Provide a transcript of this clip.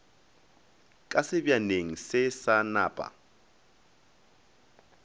ka sebjaneng se sa napa